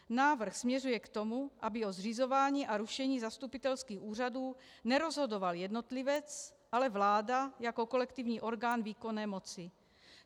Návrh směřuje k tomu, aby o zřizování a rušení zastupitelských úřadů nerozhodoval jednotlivec, ale vláda jako kolektivní orgán výkonné moci.